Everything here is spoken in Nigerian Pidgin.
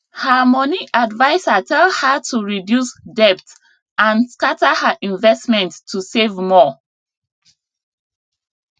her money adviser tell her to reduce debt and scatter her investment to save more